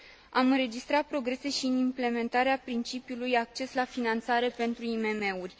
Am înregistrat progrese și în implementarea principiului acces la finanțare pentru IMM uri.